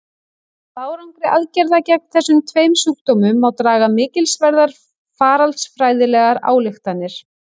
Af árangri aðgerða gegn þessum tveim sjúkdómum má draga mikilsverðar faraldsfræðilegar ályktanir.